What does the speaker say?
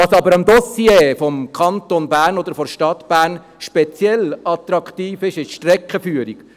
Was aber am Dossier des Kantons oder der Stadt Bern speziell attraktiv ist, ist die Streckenführung.